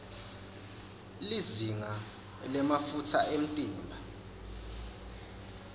lizinga lemafutsa emtimba